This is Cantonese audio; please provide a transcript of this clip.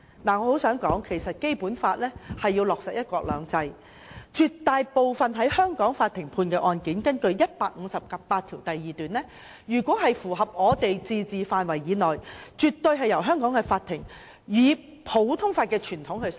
我很想說，《基本法》是為落實"一國兩制"而設，絕大部分在香港法庭判決的案件，根據《基本法》第一百五十八條第二款是屬於香港自治範圍以內，香港法庭絕對會按普通法的傳統審判。